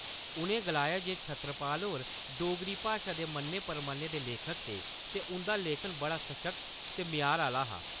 उ'नें गलाया जे छतरपाल होर डोगरी भाशा दे मन्ने-परमन्ने दे लेखक हे ते उं'दे लेखन च बड़ा सशक्त ते म्यार आह्ला हा ।